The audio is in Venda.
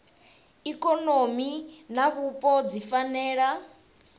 ikonomi na vhupo dzi fanela